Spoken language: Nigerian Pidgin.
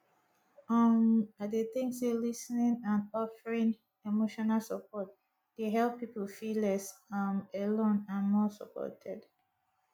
um i dey think say lis ten ing and offeering emotional support dey help people feel less um alone and more supported